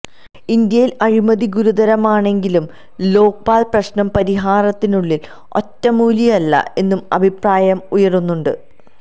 ഇന്ത്യയില് അഴിമതി ഗുരുതരമാണെങ്കിലും ലോക്പാല് പ്രശ്നപരിഹാരത്തിനുള്ള ഒറ്റമൂലിയല്ല എന്നും അഭിപ്രായം ഉയരുന്നുണ്ട്